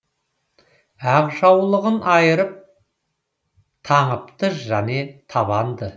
ақ жаулығын айырып таңыпты және табанда